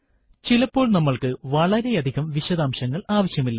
ചിലപ്പോൾ നമ്മൾക്ക് വളരെയധികം വിശദാംശങ്ങൾ ആവശ്യമില്ല